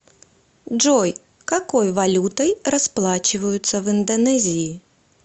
джой какой валютой расплачиваются в индонезии